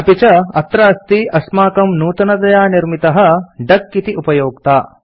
अपि च अत्र अस्ति अस्माकं नूतनतया निर्मितः डक इति उपयोक्ता